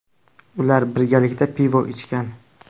Ular birgalikda pivo ichgan.